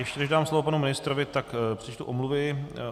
Ještě než dám slovo panu ministrovi, tak přečtu omluvy.